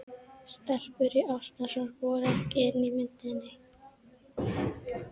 Stelpur í ástarsorg voru ekki inni í myndinni.